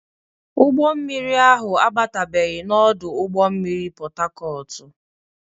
Ụgbọ mmiri ahụ abatabeghi na ọdụ ụgbọ mmiri Pọtakọọtụ.